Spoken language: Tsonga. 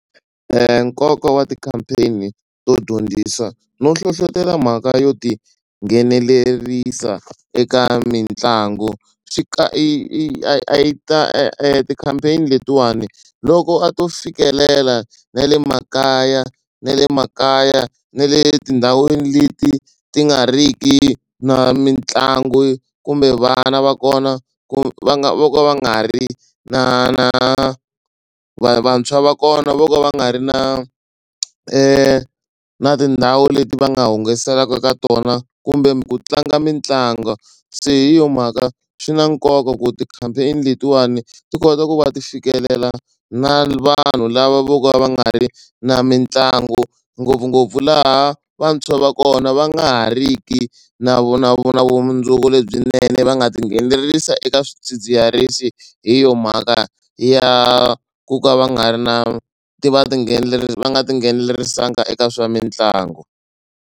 Nkoka wa ti-campaign to dyondzisa no hlohlotelo mhaka yo tinghenelerisa eka mitlangu. Swi ka i i a yi ta ti-campaign letiwani loko a to fikelela na le makaya na le makaya na le tindhawini leti ti nga ri ki na mitlangu kumbe vana va kona ku va nga vo ka va nga ri na na vantshwa va kona vo ka va nga ri na na tindhawu leti va nga hungaselaka ka tona kumbe ku tlanga mitlangu se hi yo mhaka swi na nkoka ku ti-campaign letiwani ti kota ku va ti fikelela na vanhu lava vo ka va nga ri na mitlangu ngopfungopfu laha vantshwa va kona va nga ha riki na vu na vu na vumundzuku lebyinene va nga tinghenelerisa eka swidzidziharisi hi yo mhaka ya ku ka va nga ri na ti va ti nghenelerisa va nga tinghenelerisanga eka swa mitlangu.